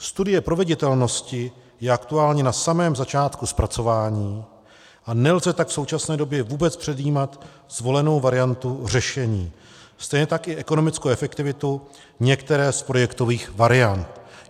Studie proveditelnosti je aktuálně na samém začátku zpracování, a nelze tak v současné době vůbec předjímat zvolenou variantu řešení, stejně tak i ekonomickou efektivitu některé z projektových variant.